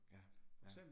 Ja, ja